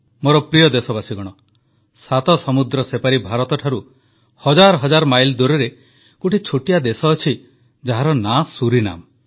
ମୋର ପ୍ରିୟ ଦେଶବାସୀଗଣ ସାତ ସମୁଦ୍ର ସେପାରି ଭାରତ ଠାରୁ ହଜାର ହଜାର ମାଇଲ୍ ଦୂରରେ ଗୋଟିଏ ଛୋଟିଆ ଦେଶ ଅଛି ଯାହାର ନାଁ ସୁରିନାମ